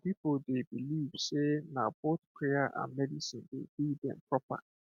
some people dey believe say na both prayer and medicine dey heal dem proper